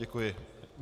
Děkuji.